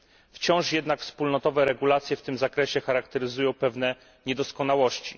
Wciąż jednak wspólnotowe regulacje w tym zakresie charakteryzują pewne niedoskonałości.